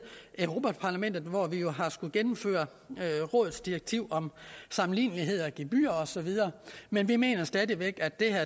europa parlamentet hvor vi jo har skullet gennemføre rådets direktiv om sammenlignelighed mellem gebyrer og så videre men vi mener stadig væk at det her